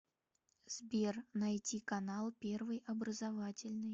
сбер найти канал первый образовательный